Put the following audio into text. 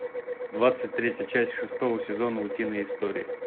двадцать третья часть шестого сезона утиные истории